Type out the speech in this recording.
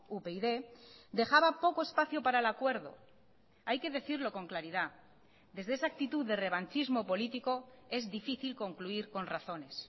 upyd dejaba poco espacio para el acuerdo hay que decirlo con claridad desde esa actitud de revanchismo político es difícil concluir con razones